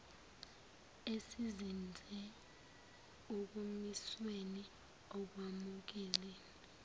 esizinze ekumisweni okwamukeliwe